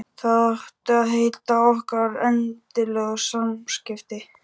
Það áttu að heita okkar eðlilegu samskipti.